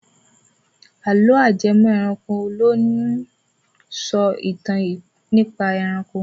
Àlọ́ ajẹmọ́-ẹranko ló ń sọ ìtàn nípa ẹranko.